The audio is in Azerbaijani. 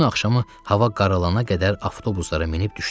Bütün axşamı hava qaralana qədər avtobuslara minib düşdüm.